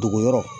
Dogo yɔrɔ